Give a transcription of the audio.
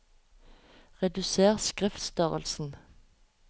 Reduser skriftstørrelsen